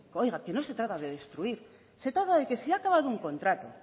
oiga que no se trata de destruir se trata de que se ha acabado un contrato